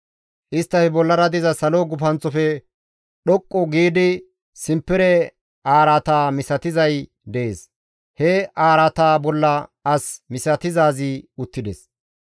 Isttafe bollara diza salo gufanththofe dhoqqu giidi simpere araata misatizay dees; he araataa bolla as misatizaazi uttides.